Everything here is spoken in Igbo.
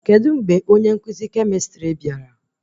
Kedụ mgbe onye nkụzi kemịstrị bịara?